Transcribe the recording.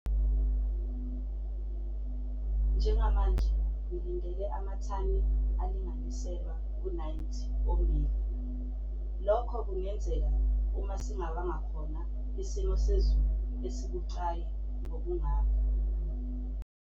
Njengamanje ngilindele amathani alinganiselwa ku-90 ommbila - lokho kungenzeka uma singabanga khona isimo sezulu esibucayi ngokungakho.